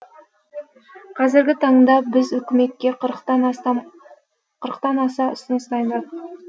қазіргі таңда біз үкіметке қырықтан аса ұсыныс дайындадық